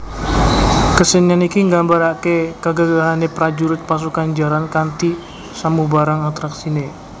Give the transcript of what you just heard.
Kesenian iki nggambaraké kegagahane prajurit pasukan jaran kanthi samubarang atraksiné